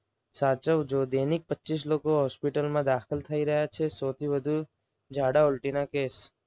સાચવજો. દૈનિક પચ્ચીસ લોકો હોસ્પિટલમાં દાખલ થઈ રહ્યા છે. સૌથી વધુ ઝાડા ઉલટી ના કેસ